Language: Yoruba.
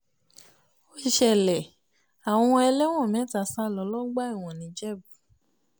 ó ṣẹlẹ̀ àwọn ẹlẹ́wọ̀n mẹ́ta sá lọ lọ́gbà ẹ̀wọ̀n nìjẹ̀bù